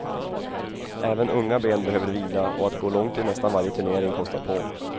Även unga ben behöver vila och att gå långt i nästan varje turnering kostar på.